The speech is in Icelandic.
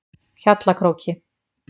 Hjallakróki